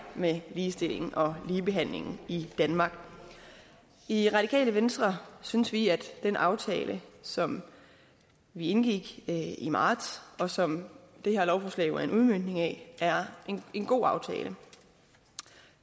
med ligestilling og ligebehandling i danmark i radikale venstre synes vi at den aftale som vi indgik i i marts og som det her lovforslag jo er en udmøntning af er en god aftale